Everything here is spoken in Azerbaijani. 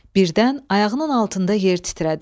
Birdən ayağının altında yer titrədi.